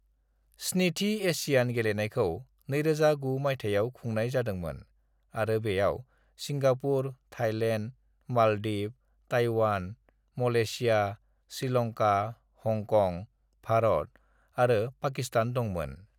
"स्निथि एशियान गेलेनायखौ 2009 मायथाइयाव खुंनाय जादोंमोन आरो बेयाव Singapore, Thailand, Maldives, Taiwan, Malaysia, Sri Lanka, Hong Kong, Bharat आरो पाकिस्तान दंमोन।"